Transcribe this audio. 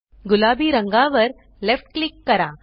गुलाबी रंगावर वर लेफ्ट क्लिक करा